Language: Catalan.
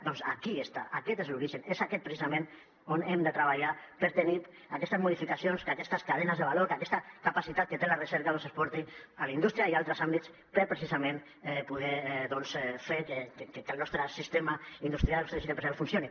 doncs aquí està aquest és l’origen és aquest precisament on hem de treballar per tenir aquestes modificacions que aquestes cadenes de valor que aquesta capacitat que té la recerca es porti a la indústria i altres àmbits per precisament poder fer que el nostre sistema industrial el nostre teixit empresarial funcioni